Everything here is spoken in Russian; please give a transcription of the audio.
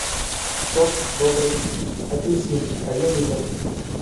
сок добрый апельсин один литр